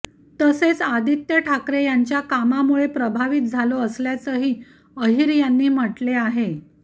तसेच आदित्य ठाकरे यांच्या कामामुळे प्रभावित झालो असल्याचंही अहिर यांनी म्हटले आहे